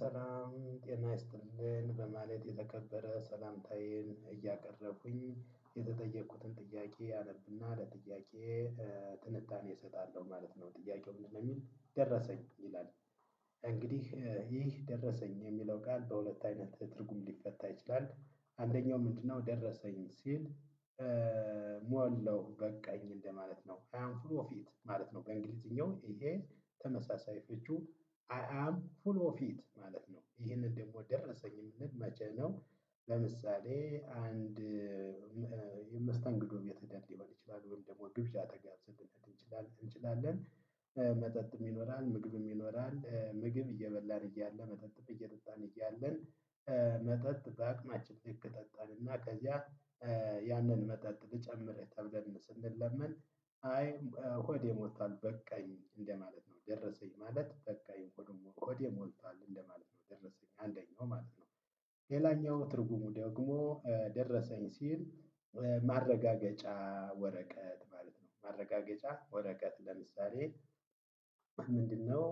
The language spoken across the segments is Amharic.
ሰላም ጤና ይስጥልኝ በማለት የተከበረ ሰላምታዬን እያቀረብኩኝ የተጠየቅኩትን ጥያቄ አለብና ለጥያቄ ጥንቃቄ እሰጣለሁ ማለት ነው ጥያቄው ምንድነው የሚል ደረሰኝ ይላል። እንግዲህ ይህ ደረሰኝ የሚለው ቃል በሁለት አይነት ትርጉም ሊፈታ ይችላል አንደኛው ምንድነው? ደረሰኝ ሲል ሞላው በቃኝ እንደማለት ነው። አይ አም ፉል ኦፍ ኢት ማለት ነው። በእንግሊዝኛው ይሄ ተመሳሳይ ፍቺዎቹ አይ አም ፉል ኦፍ ኢት ማለት ነው። ይሄንን ደግሞ ደረሰኝ የምንል መቼ ነው? ለምሳሌ አንድ የመስተንግዶ ቤት ሊሆን ይችላል ደግሞ ግብዣ ተጋብዘን ሊሆን ይችላል እንችላለን። ይኖራል ምግብም ይኖራል ምግብ እየበላ እያለ መጠጥ እየጠጣን እያለን። መጠጥ በአቅማችን ልክ ጠጣን እና ከዚያ ያንን መጠጥ ልጨምርህ ተብለን ስንለምን አይ ሆዴ ሞልቷል በቃኝ እንደማለት ነው። ደረሰኝ ማለት በቃኝ ሆዴ ሞልቷል ሞልቷል እንደማለት ነው ደረሰኝ አንደኛው ማለት ነው። ሌላኛው ትርጉሙ ደግሞ ደረሰኝ ሲል ማረጋገጫ ወረቀት ማለት ነው። ማረጋገጫ ወረቀት ለምሳሌ ምንድነው?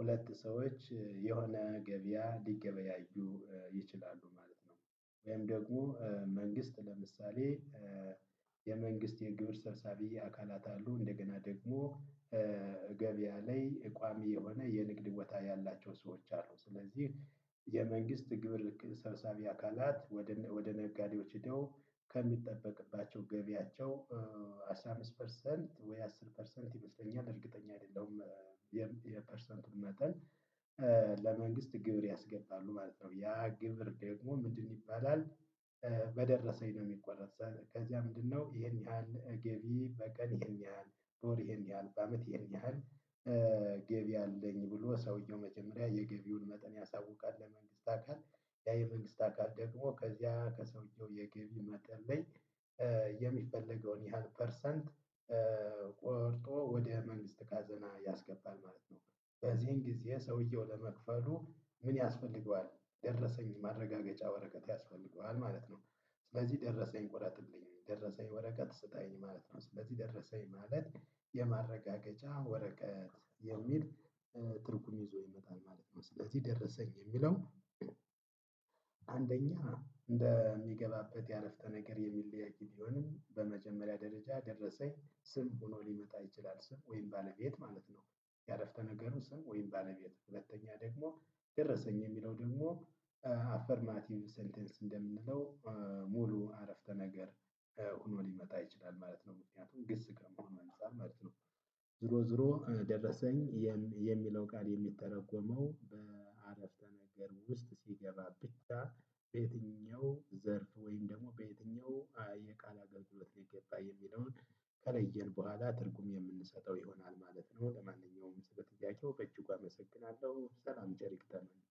ሁለት ሰዎች የሆነ ገበያ ሊገበያዩ ይችላሉ ማለት ነው። ወይም ደግሞ መንግስት ለምሳሌ የመንግስት የግብር ሰብሳቢ አካላት አሉ እንደገና ደግሞ ገበያ ላይ እቋሚ የሆነ የንግድ ቦታ ያላቸው ሰዎች አሉ። ስለዚህ የመንግስት ግብር ሰብሳቢ አካላት ወደ ነጋዴዎች ሄደው ከሚጠበቅባቸው ገቢያቸው አስራ አምስት ፐርሰንት ወይ አስር ፐርሰንት ይመስለኛል እርግጠኛ አይደለም። የፐርሰንቱን መጠን ለመንግስት ግብር ያስገባሉ ማለት ነው። ያ ግብር ደግሞ ምንድነው ይባላል? በደረሰኝ ነው የሚቆረጥ። ከዚያ ምንድነው ይሄን ያህል ገቢ በቀን ይሄን ያህል በወር ይሄን ያህል በአመት ይሄን ያህል? ገቢ አለኝ ብሎ ሰውየው የገቢውን መጠን ያሳውቃል ለመንግስት አካል። ያ የመንግስት አካል ደግሞ ከዚያ ከሰውየው የገቢ መጠበኝ የሚፈልገውን ያህል ፐርሰንት ቆርጦ ወደ መንግስት ካዘና ያስገባል ማለት ነው። በዚህን ጊዜ ሰውየው ለመክፈሉ ምን ያስፈልገዋል? ደረሰኝ ማረጋገጫ ወረቀት ያስፈልገዋል ማለት ነው። ስለዚህ ደረሰኝ ቁረጥልኝ ደረሰኝ ወረቀት ስጠኝ ማለት ነው። ስለዚህ ደረሰኝ ማለት የማረጋገጫ ወረቀት የሚል ትርጉም ይዞ ይመጣል ማለት ነው። ስለዚህ ደረሰኝ የሚለው አንደኛ እንደሚገባበት ያአረፍተ ነገር የሚለያይ ቢሆንም በመጀመሪያ ደረጃ ደረሰኝ ስም ሆኖ ሊመጣ ይችላል ስም ወይም ባለቤት ማለት ነው። የአረፍተ ነገሩ ስም ወይም ባለቤት ሁለተኛ ደግሞ ደረሰኝ የሚለው ደግሞ ሴንቴንስ እንደምንለው ሙሉ አረፍተ ነገር ሆኖ ሊመጣ ይችላል። ማለት ነው ምክንያቱም ግስ ከመሆኑ አንፃር ማለት ነው። ዞሮ ዞሮ ደረሰኝ የሚለው ቃል የሚተረጎመው በአረፍተ ነገር ውስጥ ሲገባ ብቻ። በየትኛው ዘርፍ ወይም ደግሞ በየትኛው የቃል አገልግሎት ሊገባ የሚለውን ከለየን በኋላ ትርጉም የምንሰጠው ይሆናል ማለት ነው። ለማንኛውም በጥያቄው በእጁ አመሰግናለሁ ሰላም ቸር ይግጠመን።